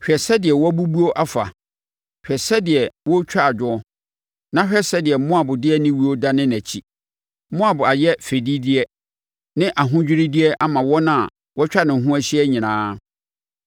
“Hwɛ sɛdeɛ wabubuo afa! Hwɛ sɛdeɛ wɔretwa adwoɔ! Na hwɛ sɛdeɛ Moab de aniwuo dane nʼakyi! Moab ayɛ fɛdideɛ ne ahodwiredeɛ ama wɔn a wɔatwa ne ho ahyia nyinaa.”